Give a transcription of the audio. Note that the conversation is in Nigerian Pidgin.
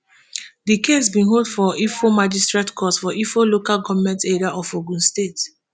di case bin hold for ifo magistrate court for ifo local goment area of ogun state